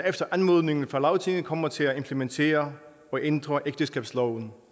efter anmodning fra lagtinget kommer til at implementere og ændre ægteskabsloven